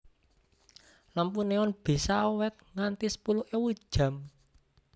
Lampu neon bisa awét nganti sepuluh ewu jam